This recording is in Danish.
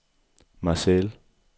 Marseille